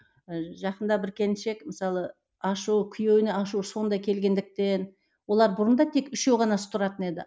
ы жақында бір келіншек мысалы ашу күйеуіне ашуы сондай келгендіктен олар бұрын да тек үшеуі ғана тұратын еді